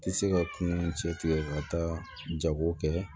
Tɛ se ka kungo cɛ tigɛ ka taa jago kɛ